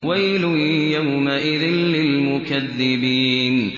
وَيْلٌ يَوْمَئِذٍ لِّلْمُكَذِّبِينَ